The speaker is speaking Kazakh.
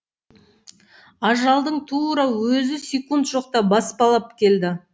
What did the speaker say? ажалдың тура өзі секунд жоқта баспалап келді